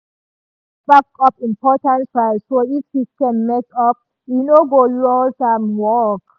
e dey always backup important files so if system mess up e no go lose im work.